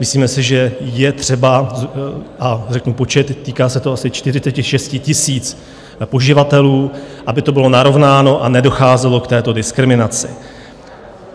Myslíme si, že je třeba, a řeknu počet, týká se to asi 46 000 poživatelů, aby to bylo narovnáno a nedocházelo k této diskriminaci.